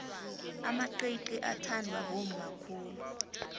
amaqiqi athandwa bomma khulu